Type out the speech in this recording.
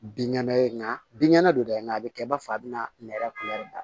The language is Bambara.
Binkɛnɛ ye nka binkɛnɛ don tɛ nga a bɛ kɛ i b'a fɔ a bɛna nɛrɛ kuru dan